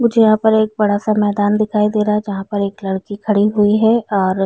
मुझे यहाँ पे बड़ा सा मैदान दिखाई दे रहा है जहां पर लड़की खड़ी हुई है और--